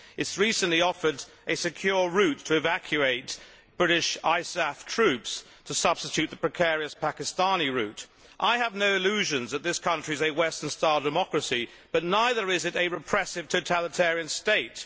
It has recently offered a secure route to evacuate British ISAF troops as a substitute for the precarious Pakistani route. I have no illusions that this country is a Western style democracy, but neither is it a repressive totalitarian state.